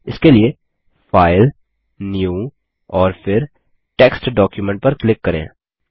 इसके लिए file new और फिर टेक्स्ट डॉक्यूमेंट पर क्लिक करें